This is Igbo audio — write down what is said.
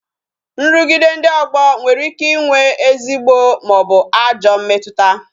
Nrugide ndị ogbo nwere ike ịnwe ezigbo maọbu ajọ mmetụta